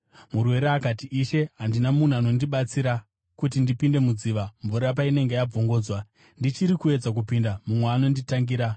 Murwere akati, “Ishe, handina munhu anondibatsira kuti ndipinde mudziva mvura painenge yabvongodzwa. Ndichiri kuedza kupinda, mumwe anonditangira.”